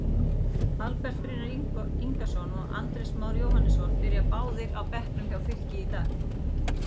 Albert Brynjar Ingason og Andrés Már Jóhannesson byrja báðir á bekknum hjá Fylki í dag.